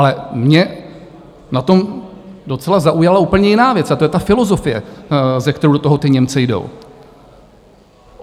Ale mě na tom docela zaujala úplně jiná věc a to je ta filozofie, se kterou do toho ti Němci jdou.